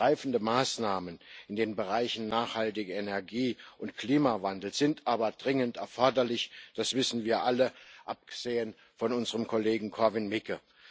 Greifende Maßnahmen in den Bereichen nachhaltige Energie und Klimawandel sind aber dringend erforderlich, das wissen wir alle abgesehen von unserem Kollegen Korwin Mikke.